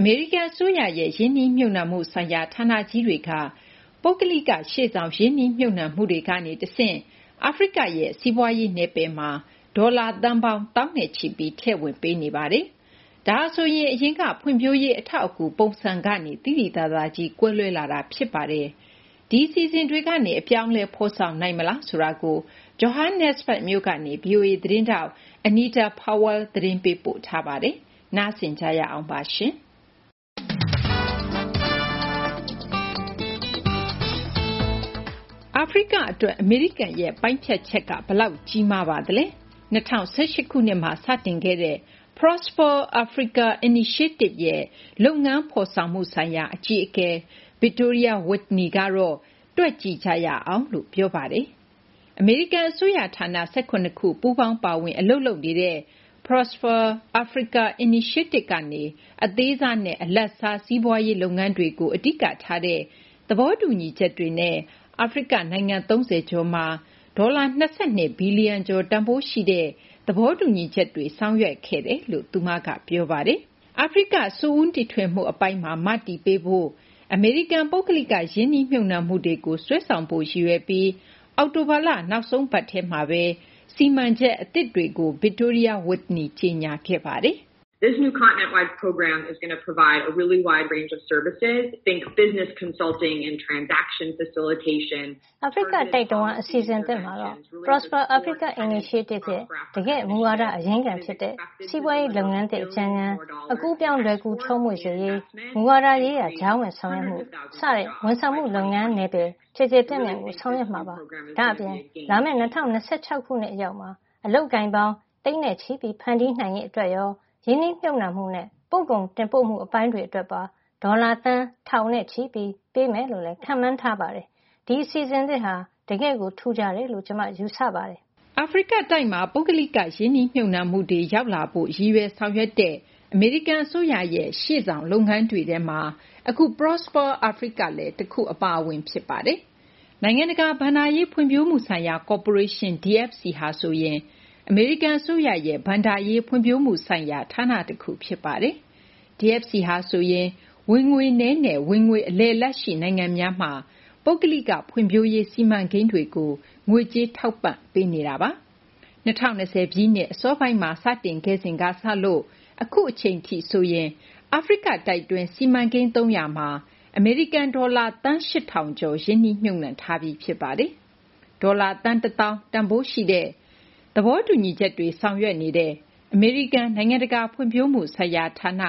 အမေရိကန် အစိုးရရဲ့ ရင်းနှီးမြှုပ်နှံမှုဆိုင်ရာ ဌာနကြီးတွေက ပုဂ္ဂလိက ရှေ့ဆောင် ရင်းနှီးမြှုပ်နှံမှုတွေကနေ တဆင့် အာဖရိကရဲ့ စီးပွားရေး နယ်ပယ်မှာ ဒေါ်လာ သန်းပေါင်း သောင်းနဲ့ချီပြီး ထည့်ဝင်ပေးနေပါတယ်။ ဒါဟာဆိုရင် အရင်က ဖွံ့ဖြိုးရေး အထောက်အကူ ပုံစံကနေ သိသိသာသာကြီး ကွဲလွဲလာတာ ဖြစ်ပါတယ်။ ဒီအစီအစဉ်တွေကနေ အပြောင်းအလဲ ဖော်ဆောင်နိုင်မလားဆိုတာကိုတော့ Johannesburg မြို့ကနေ ဗွီအိုအေ သတင်းထောက် Anita Powell က သတင်းပေးပို့ထားပါတယ်။ ဒီသီတင်းပတ် စီးပွားရေး အစီအစဉ်မှာ မသိင်္ဂ ီထိုက် တင်ပြထားပါတယ်။ အာဖရိက အတွက် အမေရိကန်ရဲ့ ပိုင်းဖြတ်ချက်က ဘယ်လောက် ကြီးမားပါသလဲ။ ၂၀၁၈ ခုနှစ်မှာ စတင်ခဲ့တဲ့ Prosper Africa Initiative ရဲ့ လုပ်ငန်းဖော်ဆောင်မှု ဆိုင်ရာ အကြီးအကဲ Victoria Whitney ကတော့ တွက်ကြည့်ကြရအောင်လို့ ပြောပါတယ်။ အမေရိကန် အစိုးရ ဌာန ၁၇ ခု ပူးပေါင်း ပါဝင် အလုပ်လုပ်နေတဲ့ Prosper Africa Initiative ကနေ အသေးစားနဲ့ အလတ်စား စီးပွားရေး လုပ်ငန်းတွေကို အဓိကထားတဲ့ သဘောတူညီချက်တွေနဲ့ အာဖရိက နိုင်ငံ ၃၀ ကျော်မှာ ဒေါ်လာ ၂၂ ဘီလျံကျော် တန်ဖိုးရှိတဲ့ သဘောတူညီချက်တွေ လုပ်ခဲ့တယ်လို့ သူမက ပြောပါတယ်။ အာဖရိက စွန့်ဦးတီထွင်မှု အပိုင်းမှာ မတည်ပေးဖို့ အမေရိကန် ပုဂ္ဂလိက ရင်းနှီးမြှုပ်နှံမှုတွေကို စွဲဆောင်ဖို့ ရည်ရွယ်ပြီး အောက်တိုဘာလ နောက်ဆုံးပတ်ထဲမှာဘဲ စီမံချက် အသစ်တွေကို Victoria Whitney ကြေညာခဲ့ပါတယ်။ “ အာဖရိကတိုက် တဝန်း အစီအစဉ်သစ်မှာတော့ Prosper Africa Initiative ရဲ့ တကယ့် မူဝါဒရဲ့ အရင်းခံ ဖြစ်တဲ့ စီးပွားရေး လုပ်ငန်းသစ် အကြံညဏ်၊ အကူးအပြောင်း လွယ်ကူချောမွေ့စေရေး၊ မူဝါဒရေးရာ ကြားဝင်ဆောင်ရွက်မှု စတဲ့ ဝန်ဆောင်မှု လုပ်ငန်းနယ်ပယ် ကျယ်ကျယ်ပြန့်ပြန့် ဆောင်ရွက်မှာပါ။ ဒါ့အပြင် လာမယ့် ၂၀၂၆ ခုနှစ် အရောက်မှာ အလုပ်အကိုင်ပေါင်း သိန်းချီ ဖန်တီးနိုင်ရေး၊ ရင်းနှီးမြှုပ်နှံမှုနဲ့ ပို့ကုန် တင်ပို့မှု အပိုင်းတွေ အတွက် ဒေါ်လာ သန်း ထောင်နဲ့ချီ ပေးမယ်လို့လည်း ခန့်မှန်းထားပါတယ်။ ဒီ အစီအစဉ်သစ်ဟာ တကယ် ထူးခြားတယ်လို့ ကျမက ယူဆပါတယ်။” အာဖရိကတိုက်မှာ ပုဂ္ဂလိက ရင်းနှီးမြှုပ်နှှုံတွေ ရောက်လာဖို့ ရည်ရွယ်ဆောင်ရွက်တဲ့ အမေရိကန် အစိုးရရဲ့ ရှေ့ဆောင် လုပ်ငန်းတွေထဲမှာ အခု Prosper Africa လည်း တခု အပါအဝင် ဖြစ်ပါတယ်။ နိုင်ငံတကာ ဘဏ္ဍာရေး ဖွံ့ဖြိုးမှု ဆိုင်ရာ ကော်ပိုးရေးရှင်း DFC ဟာဆိုရင် အမေရိကန် အစိုးရရဲ့ ဘဏ္ဍာရေး ဖွံ့ဖြိုးမှုဆိုင်ရာ ဌာန တခုဖြစ်ပါတယ်။ DFC ဟာဆိုရင် ဝင်ငွေနည်းနဲ့ ဝင်ငွေ အလယ်အလတ်ရှိ နိုင်ငံများမှာ ပုဂ္ဂလိက ဖွံ့ဖြိုးရေး စီမံကိန်းတွေကို ငွေကြေးထောက်ပံ့မှု လုပ်နေတာပါ။ ၂၀၂၀ ပြည့်နှစ် အစောပိုင်းမှာ စတင်ခဲ့စဉ်ကစလို့ အခုအချိန်ထိ ဆိုရင် အာဖရိကတိုက်တွင်း စီမံကိန်း ၃၀၀ မှာ အမေရိကန် ဒေါ်လာ သန်း ၈,၀၀၀ ကျော် ရင်းနှီးမြှုပ်နှံထားပြီး ဖြစ်ပါတယ်။ ဒေါ်လာ သန်း ၁၀,၀၀၀ တန်ဖိုးရှိတဲ့ သဘောတူညီချက်တွေ ဆောင်ရွက်နေတဲ့ အမေရိကန် နိုင်ငံတကာ ဖွံ့ဖြိုးမှုဆိုင်ရာ ဌာန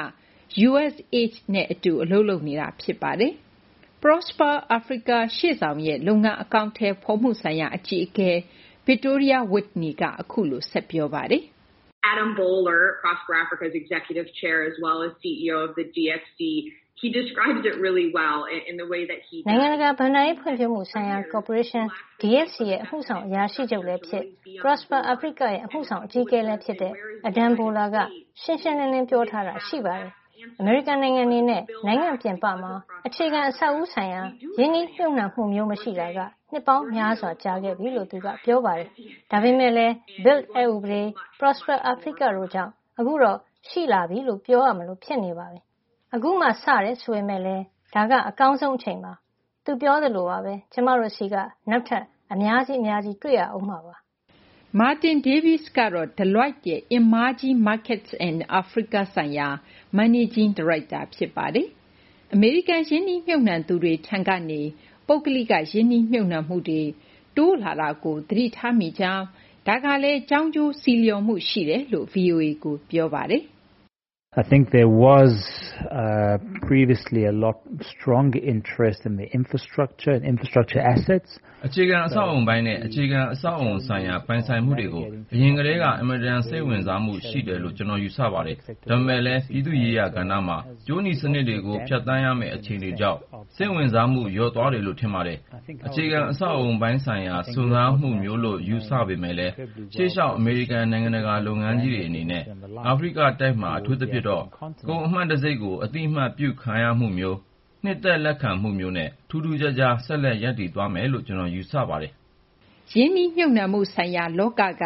USAID နဲ့ အတူ အလုပ်လုပ်နေတာ ဖြစ်ပါတယ်။ Prosper Africa ရှေ့ဆောင်ရဲ့ လုပ်ငန်းအကောင်အထည်ဖော်မှု ဆိုင်ရာ အကြီးအကဲ Victoria Whitney က အခုလို ဆက်ပြောပါတယ်။ “ နိုင်ငံတကာ ဘဏ္ဍာရေး ဖွံ့ဖြိုးမှု ဆိုင်ရာ ကော်ပိုးရေးရှင်း DFC ရဲ့ အမှုဆောင် အရာရှိချုပ်လည်း ဖြစ်၊ Prosper Africa ရဲ့ အမှုဆောင် အကြီးအကဲလည်း ဖြစ်တဲ့ Adam Boehler က ရှင်းရှင်းလင်းလင်း ပြောဆိုထားတာ ရှိပါတယ်။ အမေရိကန် အနေနဲ့ နိုင်ငံ ပြင်ပမှာ အခြေခံအဆောက်အဦ ဆိုင်ရာ ရင်းနှီးမြှုပ်နှံမှုမျိုး မရှိတာ နှစ်ပေါင်းများစွာ ကြာခဲ့ပြီလို့ သူက ပြောပါတယ်။ ဒါပေမယ့်လည်း BUILD အက်ဥပဒေ၊ Prosper Afirca တို့ကြောင့် အခုတော့ ရှိပြီလို့ ပြောလို့ ရနေပါပြီ။ အခုမှ စတယ်ဆိုပေမယ့်လည်း အကောင်းဆုံး အချိန်ပါ။ သူပြောသလိုပါဘဲ ကျမတို့ဆီက နောက်ထပ် အများကြီး အများကြီး တွေ့ရဦးမှာပါ။ ” Martyn Davies ကတော့ Deloitte ရဲ့ emerging markets and Africa ဆိုင်ရာ Managing Director ဖြစ်ပါတယ်။ အမေရိကန် ရင်းနှီးမြှုပ်နှံသူတွေ ထံကနေ ပုဂ္ဂလိက ရင်းနှီးမြှုပ်နှံမှုတွေ တိုးလာတာကို သတိထားမိကြောင်း၊ ဒါကလည်း ကြောင်းကျိုး ဆီးလျော်မှု ရှိပါတယ်လို့ ဗွီအိုအေကို ပြောပါတယ်။ “ အခြေခံ အဆောက်အဦပိုင်းနဲ့ အခြေခံ အဆောက်အဦ ဆိုင်ရာ ပိုင်ဆိုင်မှုတွေကို အရင်ကတည်းက အင်မတန် စိတ်ဝင်စားမှု ရှိတယ်လို့ ကျနော် ယူဆပါတယ်။ ဒါပေမယ့်လည်း ပြည်သူ့ရေးရာ ကဏ္ဍမှာ ကြိုးနီ စနစ်တွေကို ဖြတ်သန်းရမယ့် အခြေအနေကြောင့် စိတ်ဝင်စားမှု လျော့သွားတယ်လို့ ထင်ပါတယ်။ အခြေခံ အဆောက်အဦးပိုင်းဆိုင်ရာ စွန့်စားမှုမျိုးလို့ ယူဆပေမယ့်လည်း ရှေ့လျှောက် အမေရိကန် နိုင်ငံတကာ လုပ်ငန်းကြီးတွေ အနေနဲ့ အာဖရိက တိုက်မှာ အထူးသဖြင့်တော့ ကုန်အမှတ်တံဆိပ်ကို အသိအမှတ်ပြုခံရမှုမျိုး၊ နှစ်သက် လက်ခံမှုမျိုးနဲ့ ထူးထူးခြားခြား ဆက်လက် ရပ်တည်သွားမယ်လို့ ကျနော် ယူဆပါတယ်။ ” ရင်းနှီးမြှုပ်နှံမှုဆိုင်ရာ လောက က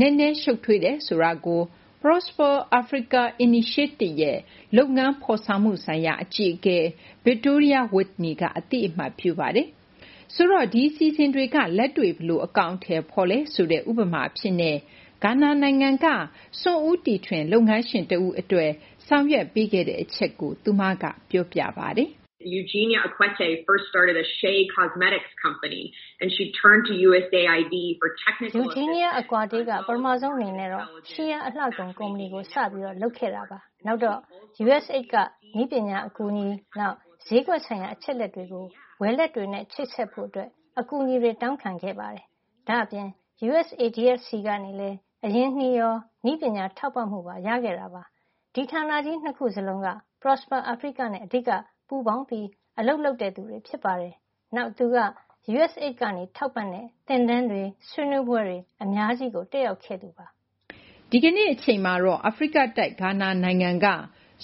နက်နဲ ရှုပ်ထွေးတယ်ဆိုတာကို Prosper Africa ရှေ့ဆောင်ရဲ့ လုပ်ငန်းဖော်ဆောင်မှု ဆိုင်ရာ အကြီးအကဲ Victoria Whitney က အသိအမှတ်ပြုပါတယ်။ ဆိုတော့ ဒီ အစီအစဉ်တွေက လက်တွေ့ ဘယ်လို အကောင်အထည်ဖော်လဲ ဆိုတဲ့ ဥပမာ အဖြစ်နဲ့ ဂါနာနိုင်ငံက စွန့်ထွင် လုပ်ငန်းရှင် တဦး အတွက် ဆောင်ရွက်ပေးခဲ့မှုကို သူက ပြောပြပါတယ်။ “ Eugenia Akueta က ပထမဆုံး အနေနဲ့တော့ Shea အလှကုန် ကုမ္ပဏီကို စပြီး လုပ်ခဲ့တာပါ။ နောက်တော့ USAID ကနေ နည်းပညာအကူအညီ နောက် ဈေးကွက်ဆိုင်ရာ အချက်အလက်တွေ ဝယ်လက်တွေနဲ့ ချိတ်ဆက်ဖို့ အကူအညီ တောင်းခဲ့ပါတယ်။ ဒါ့အပြင် USADF ထံကနေလည်း အရင်းအနှီးရော နည်းပညာ ထောက်ပံ့မှုရော ရခဲ့ပါတယ်။ ဒီ ဌာနကြီး နှစ်ခုလုံးက Prosper Africa နဲ့ အဓိက ပူးပေါင်း အလုပ်လုပ်သူတွေ ဖြစ်ပါတယ်။ နောက် သူက USAID က ထောက်ပံ့တဲ့ သင်တန်းတွေ ဆွေးနွေးပွဲတွေ အများကြီး တက်ရောက်ခဲ့ပါတယ်။ ” ဒီကနေ့ အချိန်မှာတော့ အာဖရိကတိုက် ဂါနာနိုင်ငံက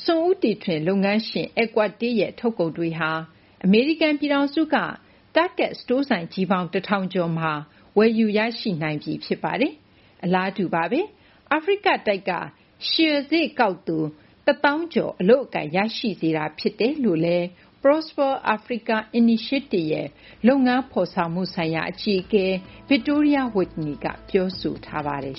စွန့်ဦးတီထွင် လုပ်ငန်းရှင် Akuete ရဲ့ ထုတ်ကုန်တွေဟာ အမေရိကန် ပြည်ထောင်စုက Target စတိုင်းဆိုင် ၁၀၀၀ ကျော်မှာ ဝယ်ယူ ရရှိနိုင်ပြီး ဖြစ်ပါတယ်။ အလားတူပါဘဲ အာဖရိက တိုက်က Shea စေ့ ကောက်သူ ၁၀,၀၀၀ ကျော် အလုပ်အကိုင် ရရှိစေတယ်လို့လည်း Prosper Africa ရှေ့ဆောင်ရဲ့ လုပ်ငန်းဖော်ဆောင်မှု ဆိုင်ရာ အကြီးအကဲ Victoria Whitney က ပြောဆိုပါတယ်